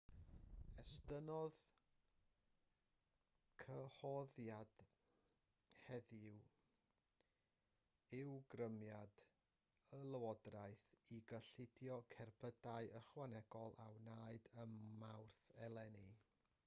estynnodd cyhoeddiad heddiw ymrwymiad y llywodraeth i gyllido cerbydau ychwanegol a wnaed ym mawrth eleni